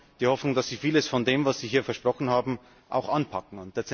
Wir haben die Hoffnung, dass Sie vieles von dem, was Sie hier versprochen haben, auch anpacken.